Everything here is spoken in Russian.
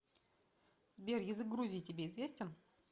сбер язык грузии тебе известен